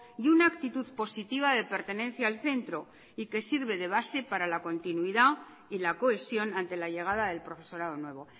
y una actitud positiva de pertenencia al centro y que sirve de base para la continuidad y la cohesión ante la llegada del profesorado nuevo